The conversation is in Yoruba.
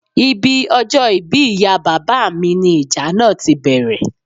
Ibi ọjọ́ ìbí ìyá bàbá mi ní ìjà náà tí bẹ̀rẹ̀